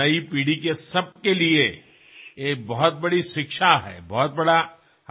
আপুনি যেতিয়া গৰ্বেৰে কয় যে আপোনাৰ মা গুজৰাটী আছিল তেতিয়া মই আৰু অধিক সুখী হও